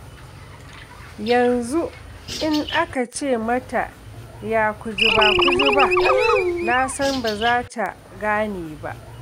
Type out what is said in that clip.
Yanzu in aka ce mata ya kujiba-kujiba? Na san ba za ta gane ba.